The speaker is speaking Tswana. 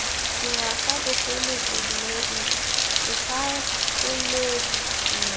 dingwaga bogole bodumedi segakolodi tumelo